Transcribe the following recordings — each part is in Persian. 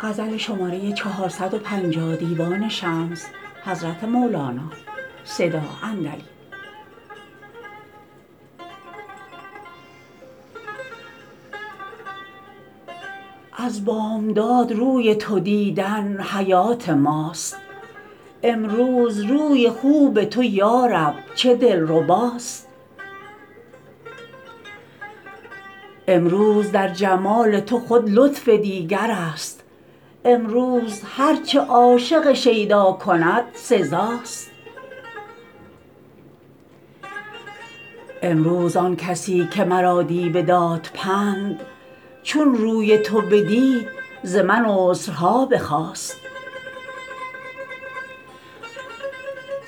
از بامداد روی تو دیدن حیات ماست امروز روی خوب تو یا رب چه دلرباست امروز در جمال تو خود لطف دیگرست امروز هر چه عاشق شیدا کند سزاست امروز آن کسی که مرا دی بداد پند چون روی تو بدید ز من عذرها بخواست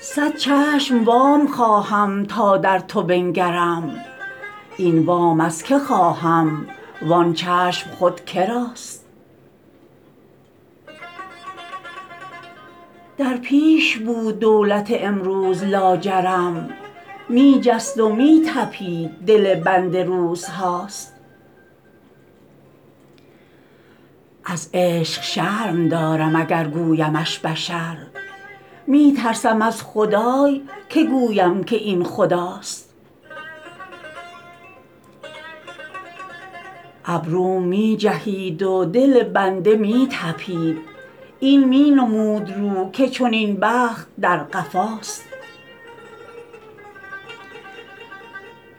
صد چشم وام خواهم تا در تو بنگرم این وام از کی خواهم و آن چشم خود که راست در پیش بود دولت امروز لاجرم می جست و می طپید دل بنده روزهاست از عشق شرم دارم اگر گویمش بشر می ترسم از خدای که گویم که این خداست ابروم می جهید و دل بنده می طپید این می نمود رو که چنین بخت در قفاست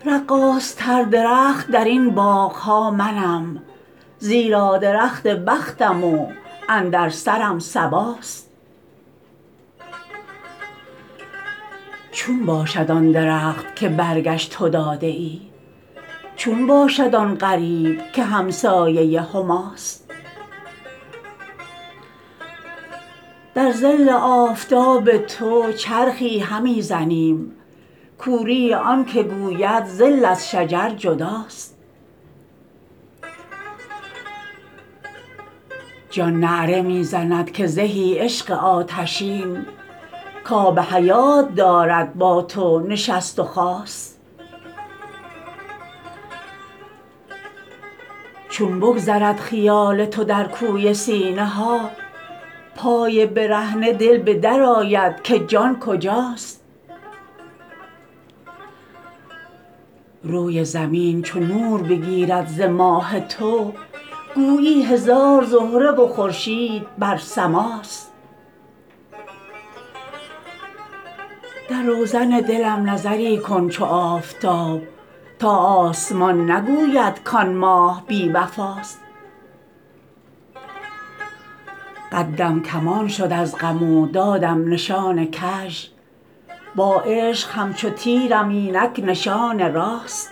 رقاصتر درخت در این باغ ها منم زیرا درخت بختم و اندر سرم صباست چون باشد آن درخت که برگش تو داده ای چون باشد آن غریب که همسایه هماست در ظل آفتاب تو چرخی همی زنیم کوری آنک گوید ظل از شجر جداست جان نعره می زند که زهی عشق آتشین کاب حیات دارد با تو نشست و خاست چون بگذرد خیال تو در کوی سینه ها پای برهنه دل به در آید که جان کجاست روی زمین چو نور بگیرد ز ماه تو گویی هزار زهره و خورشید بر سماست در روزن دلم نظری کن چو آفتاب تا آسمان نگوید کان ماه بی وفاست قدم کمان شد از غم و دادم نشان کژ با عشق همچو تیرم اینک نشان راست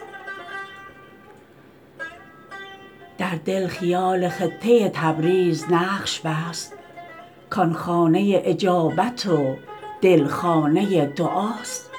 در دل خیال خطه تبریز نقش بست کان خانه اجابت و دل خانه دعاست